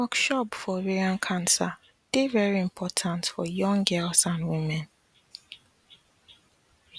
workshop for ovarian cancer dey very important for young girls and women